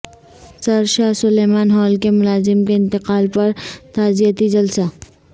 سر Shah Sulaiman Hall کے ملازم کے انتقال پر تعزیتی جلسہ